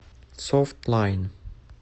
софтлайн